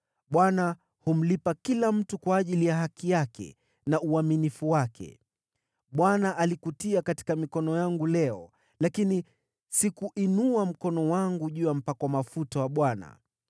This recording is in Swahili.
Bwana humlipa kila mtu kwa ajili ya haki yake na uaminifu wake. Bwana alikutia katika mikono yangu leo, lakini sikuinua mkono wangu juu ya mpakwa mafuta wa Bwana .